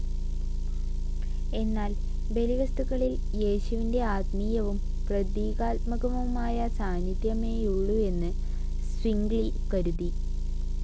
എന്നാൽ ബലിവസ്തുക്കളിൽ യേശുവിന്റെ ആത്മീയവും പ്രതീകാത്മകവുമായ സാന്നിദ്ധ്യമേയുള്ളെന്ന് സ്വിംഗ്ലി കരുതി.